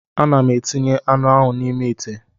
Ana m etinye anụ ahụ n'ime ite